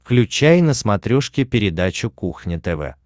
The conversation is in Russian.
включай на смотрешке передачу кухня тв